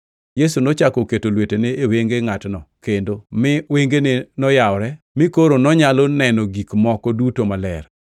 Yesu nochako oketo lwetene e wenge ngʼatno kendo, mi wengene noyawore mi koro nonyalo neno gik moko duto maler.